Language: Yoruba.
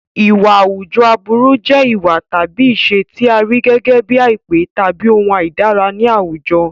Ìwà àwùjọ aburú jẹ́ ìwà tàbí ìṣe tí a rí gẹ́gẹ́ bíi àìpé tàbí ohun àìdára ní àwùjọ.